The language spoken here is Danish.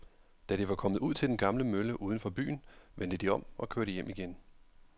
Da de var kommet ud til den gamle mølle uden for byen, vendte de om og kørte hjem igen.